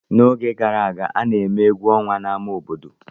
N'oge gara aga, a na-eme egwu ọnwa n'ámá obodo.